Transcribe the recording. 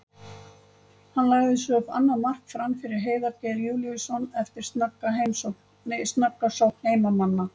Hann lagði svo upp annað mark Fram fyrir Heiðar Geir Júlíusson eftir snögga sókn heimamanna.